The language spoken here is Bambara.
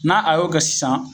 N'a a y'o kɛ sisan